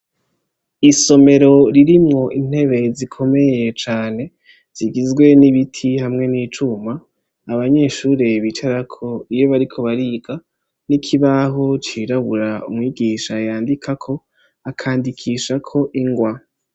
Isomero ririmwo intebe zikomeye cane, zigizwe n'ibiti hamwe n'icuma, abanyeshure bicarako iyo bariko bariga, n'ikibaho cirabura umwigisha yandikako, akandikishako ingwa.